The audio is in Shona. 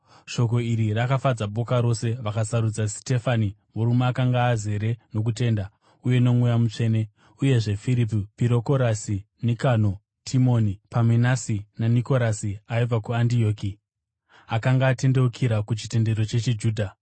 Shoko iri rakafadza boka rose. Vakasarudza Sitefani, murume akanga azere nokutenda uye noMweya Mutsvene; uyezve Firipi, Pirokorasi, Nikano, Timoni, Pamenasi, naNikorasi aibva kuAndioki, akanga akatendeukira kuchitendero chechiJudha.